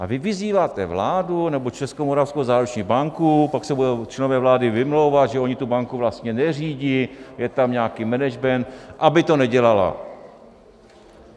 A vy vyzýváte vládu, nebo Českomoravskou záruční banku - pak se budou členové vlády vymlouvat, že oni tu banku vlastně neřídí, je tam nějaký management - aby to nedělala.